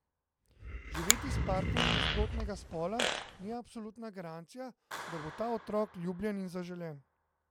Živeti s partnerjem nasprotnega spola ni absolutna garancija, da bo ta otrok ljubljen in zaželen.